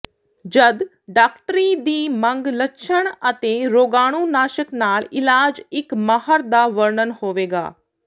ਜਦ ਡਾਕਟਰੀ ਦੀ ਮੰਗ ਲੱਛਣ ਅਤੇ ਰੋਗਾਣੂਨਾਸ਼ਕ ਨਾਲ ਇਲਾਜ ਇਕ ਮਾਹਰ ਦਾ ਵਰਣਨ ਹੋਵੇਗਾ